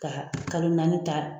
Ka kalo naani ta